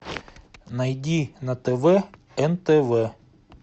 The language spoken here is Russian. найди на тв нтв